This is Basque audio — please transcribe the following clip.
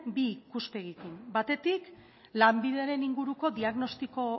bi ikuspegitik batetik lanbideren inguruko diagnostiko